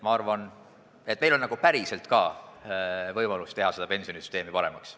Ma arvan, et meil on ka päriselt võimalus teha pensionisüsteemi paremaks.